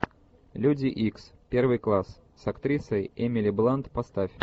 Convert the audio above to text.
люди икс первый класс с актрисой эмили блант поставь